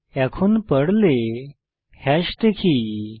এখন পর্লে hash data structure দেখি